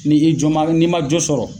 Ni i jɔ ma n'i ma jo sɔrɔ